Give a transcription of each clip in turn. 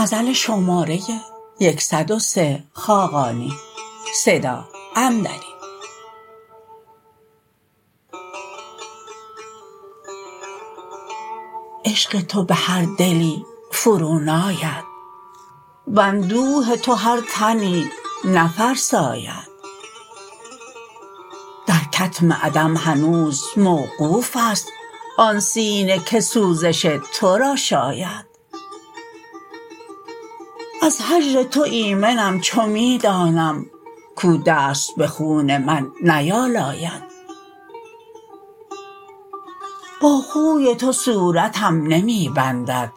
عشق تو به هر دلی فرو ناید و اندوه تو هر تنی نفرساید در کتم عدم هنوز موقوف است آن سینه که سوزش تو را شاید از هجر تو ایمنم چو می دانم کو دست به خون من نیالاید با خوی تو صورتم نمی بندد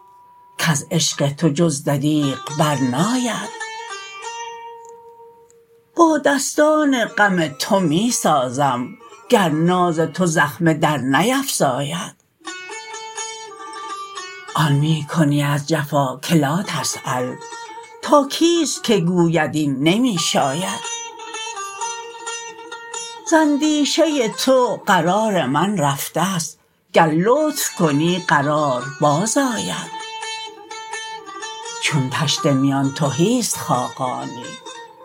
کز عشق تو جز دریغ برناید با دستان غم تو می سازم گر ناز تو زخمه درنیفزاید آن می کنی از جفا که لاتسیل تا کیست که گوید این نمی شاید ز اندیشه تو قرار من رفته است گر لطف کنی قرار بازآید چون طشت میان تهی است خاقانی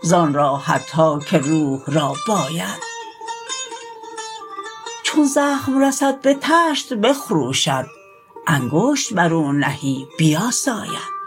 زان راحت ها که روح را باید چون زخم رسد به طشت بخروشد انگشت بر او نهی بیاساید